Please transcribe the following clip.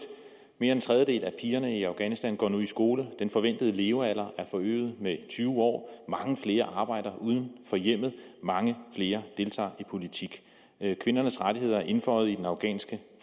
mere end en tredjedel af pigerne i afghanistan går nu i skole den forventede levealder er forøget med tyve år mange flere arbejder uden for hjemmet mange flere deltager i politik kvindernes rettigheder er indføjet i den afghanske